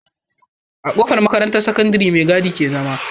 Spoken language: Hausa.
A kofar makarantar sakandari me gadi ke zama